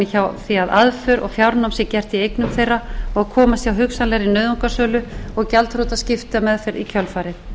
hjá því að aðför og fjárnám sé gert í eignum þeirra og komast hjá hugsanlegri nauðungarsölu og gjaldþrotaskiptameðferð í kjölfarið